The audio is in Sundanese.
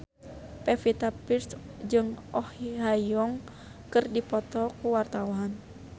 Pevita Pearce jeung Oh Ha Young keur dipoto ku wartawan